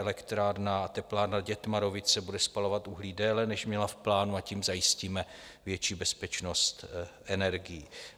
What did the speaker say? Elektrárna a teplárna Dětmarovice bude spalovat uhlí déle, než měla v plánu, a tím zajistíme větší bezpečnost energií.